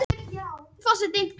Brói, hvernig er dagskráin?